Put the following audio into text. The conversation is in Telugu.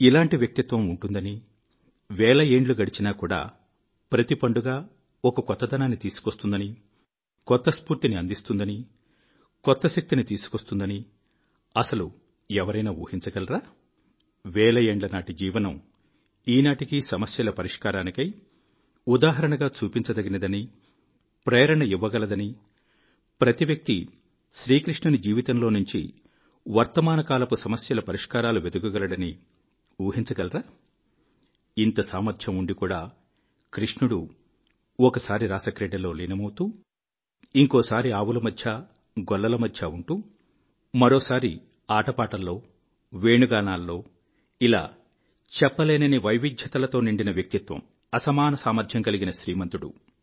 ఇలాంటి వ్యక్తిత్వం ఉంటుందని వేల ఏండ్లు గడిచినా కూడా ప్రతి పండుగ ఒక కొత్తదనాన్ని తీసుకొస్తుందని కొత్త స్ఫూర్తిని అందిస్తుందని కొత్త శక్తిని తీసుకొస్తుందని అసలు ఎవరైనా ఊహించగలరా వేల ఏండ్ల నాటి జీవనం ఈనాటికీ సమస్యల పరిష్కారానికై ఉదాహరణగా చూపించదగినదని ప్రేరణ ఇవ్వగలదని ప్రతి వ్యక్తి శ్రీకృష్ణుని జీవితంలో నుంచి వర్తమానకాలపు సమస్యలపరిష్కారాలు వెదుకగలడని ఊహించగలరా ఇంత సామర్థ్యం ఉండి కూడా కృష్ణుడు ఒకసారి రాసక్రీడలో లీనమౌతూ ఇంకోసారి గోవులమధ్య గోపాలకుల మధ్య ఉంటూ మరోసారి ఆటపాటల్లో వేణుగానాల్లో ఇలా చెప్పలేనన్ని వైవిధ్యతలతో నిండిన వ్యక్తిత్వము అసమాన సామర్థ్యం కలిగిన శ్రీమంతుడు